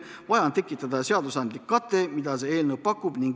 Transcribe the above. Vaja on tekitada seadusandlik kate, mida see eelnõu pakubki.